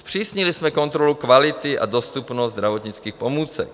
Zpřísnili jsme kontrolu kvality a dostupnost zdravotnických pomůcek.